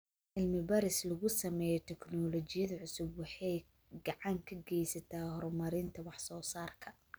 Cilmi baaris lagu sameeyo tignoolajiyada cusub waxay gacan ka geysataa horumarinta wax soo saarka.